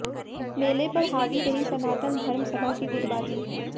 मेले पर हावी रही सनातन धर्म सभा की गुटबाजी